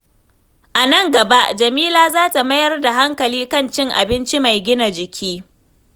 A nan gaba, Jamila za ta mayar da hankali kan cin abinci mai gina jiki.